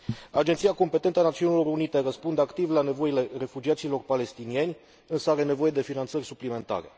Agenția competentă a Națiunilor Unite răspunde activ la nevoile refugiaților palestinieni, însă are nevoie de finanțări suplimentare.